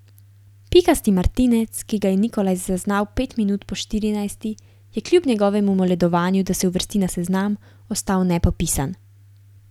Pikasti martinec, ki ga je Nikolaj zaznal pet minut po štirinajsti, je kljub njegovemu moledovanju, da se uvrsti na seznam, ostal nepopisan.